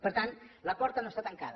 per tant la porta no està tancada